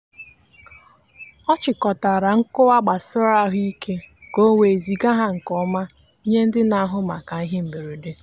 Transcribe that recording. ọ chịkọtara nkọwa gbasara ahụike ka o wee ziga ha nke ọma nye ndị na-ahụ maka ihe mberede.